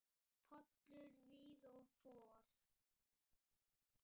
Pollar víða og for.